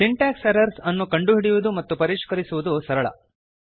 syntax errors ಅನ್ನು ಕಂಡುಹಿಡಿಯುವುದು ಮತ್ತು ಪರಿಷ್ಕರಿಸುವುದು ಸರಳ